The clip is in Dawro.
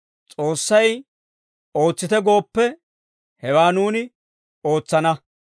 S'oossay ootsite gooppe, hewaa nuuni ootsana.